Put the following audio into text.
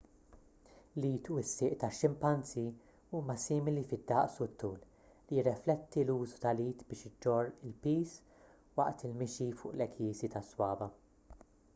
l-id u s-sieq tax-ximpanżì huma simili fid-daqs u t-tul li jirrifletti l-użu tal-id biex iġorr il-piż waqt il-mixi fuq l-għekiesi tas-swaba'